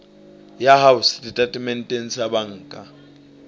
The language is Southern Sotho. ya hao setatementeng sa banka